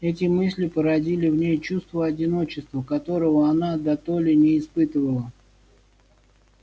эти мысли породили в ней чувство одиночества которого она дотоле не испытывала